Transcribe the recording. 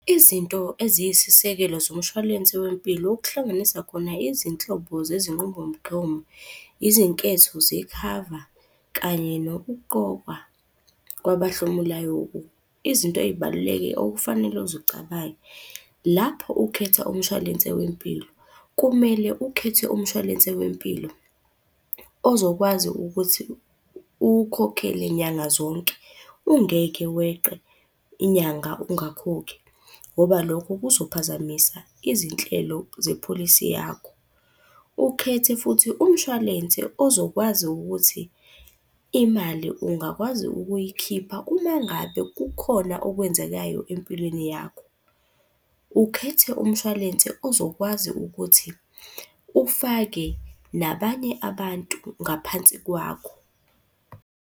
Izinto eziyisisekelo zomshwalense wempilo okuhlanganisa khona izinhlobo zezinqubomgomo, izinketho zekhava kanye nokuqokwa kwabahlomulayo . Izinto ey'balulekile okufanele uzicabange, lapho ukhetha umshwalense wempilo, kumele ukhethe umshwalense wempilo ozokwazi ukuthi uwukhokhele nyanga zonke, ungeke weqe inyanga ungakhokhi. Ngoba lokho kuzophazamisa izinhlelo zepholisi yakho. Ukhethe futhi umshwalense ozokwazi ukuthi imali ungakwazi ukuyikhipha uma ngabe kukhona okwenzekayo empilweni yakho. Ukhethe umshwalense ozokwazi ukuthi ufake nabanye abantu ngaphansi kwakho.